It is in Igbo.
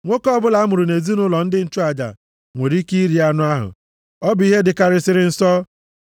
Nwoke ọbụla a mụrụ nʼezinaụlọ ndị nchụaja nwere ike iri anụ ahụ, ọ bụ ihe dịkarịsịrị nsọ.